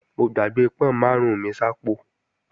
Mo gbàgbé pọ́n máàrún mi sápò